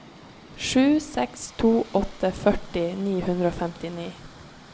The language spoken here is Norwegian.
sju seks to åtte førti ni hundre og femtini